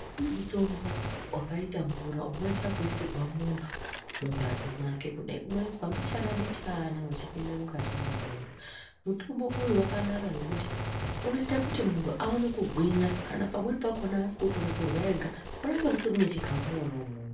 Kune mutombo vakaita mvura unoita vekuisirwa muntu mungazi make kudai. Unoiswa mbichana-mbichana vechipinda mungazi mwemuntu. Mutombo uyu vakanaka ngekuti unoita kuti muntu aone kugwinya kana pamweni pakona asinga koni kurya ega munenge mutorine chikafu mona imwomwo.